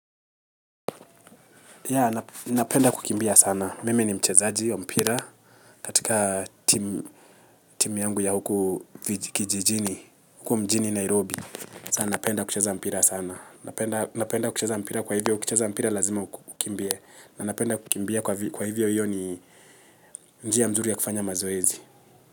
Yaa napenda kukimbia sana mimi ni mchezaji wa mpira katika team yangu ya huku kijijini huku mjini nairobi sana napenda kucheza mpira sana napenda napenda kucheza mpira kwa hivyo ukicheza mpira lazima ukimbie na napenda kukimbia kwa hivyo hiyo ni nji ya mzuri ya kufanya mazoezi.